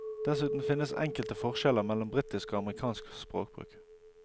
Dessuten finnes enkelte forskjeller mellom britisk og amerikansk språkbruk.